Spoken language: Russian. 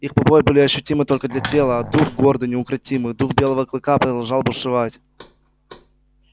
их побои были ощутимы только для тела а дух гордый неукротимый дух белого клыка продолжал бушевать